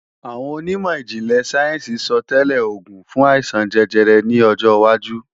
Àwọn onímọ̀ ìjìnlẹ̀ sáyẹ́ǹsì sọtẹ́lẹ̀ oògùn fún àìsàn jẹjẹrẹ ní ọjọwájú